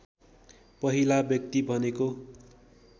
पहिला व्यक्ति भनेको